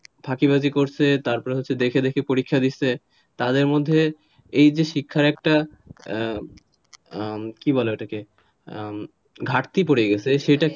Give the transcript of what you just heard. ফাঁকিবাজি করছে তারপর হচ্ছে দেখে দেখে পরীক্ষা দিছে তাদের মধ্যে এই যে শিক্ষার একটা কি বলে ওটাকে? ঘাটতি পরে গেছে সেটা,